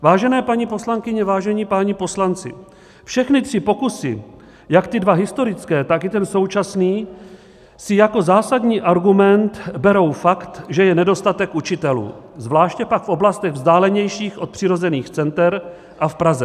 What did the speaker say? Vážené paní poslankyně, vážení páni poslanci, všechny tři pokusy, jak ty dva historické, tak i ten současný, si jako zásadní argument berou fakt, že je nedostatek učitelů, zvláště pak v oblastech vzdálenějších od přirozených center a v Praze.